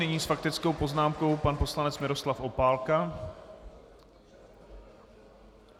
Nyní s faktickou poznámkou pan poslanec Miroslav Opálka.